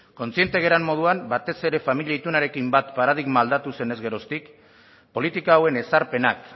kontziente garen moduan batez ere familia itunarekin bat paradigma aldatu zenez geroztik politika hauen ezarpenak